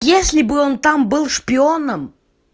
если бы он там был шпионом